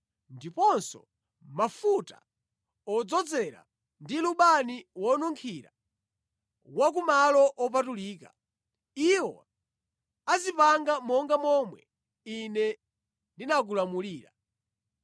ndiponso mafuta odzozera ndi lubani wonunkhira wa ku malo opatulika. Iwo azipanga monga momwe Ine ndinakulamulira.”